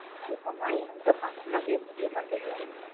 இப்போல்லாம் எங்க பண்ணவே முடிய மாட்டுது